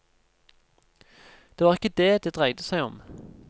Det var ikke dét det dreide seg om.